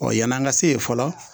yan'an ka se yen fɔlɔ